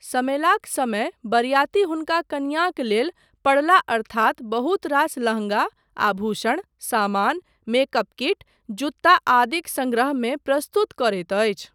समेलाक समय बरियाती हुनका कनियाँक लेल पड़ला अर्थात बहुत रास लहंँगा, आभूषण, सामान, मेकअप किट, जूता आदिक सङ्ग्रह मे प्रस्तुत करैत अछि।